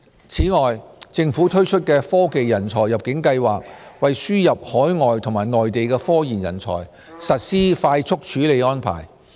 此外，政府推出的"科技人才入境計劃"，為輸入海外和內地科研人才，實施快速處理安排。